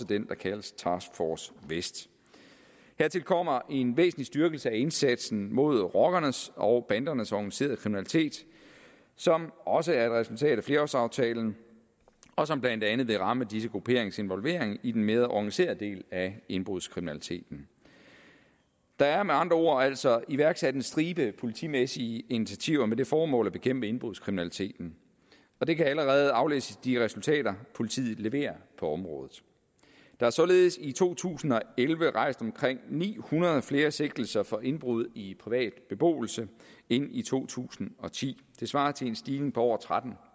den der kaldes task force vest hertil kommer en væsentlig styrkelse af indsatsen mod rockernes og bandernes organiserede kriminalitet som også er et resultat af flerårsaftalen og som blandt andet vil ramme disse grupperingers involvering i den mere organiserede del af indbrudskriminaliteten der er med andre ord altså iværksat en stribe politimæssige initiativer med det formål at bekæmpe indbrudskriminaliteten det kan allerede aflæses i de resultater politiet leverer på området der er således i to tusind og elleve rejst omkring ni hundrede flere sigtelser for indbrud i privat beboelse end i to tusind og ti det svarer til en stigning på over tretten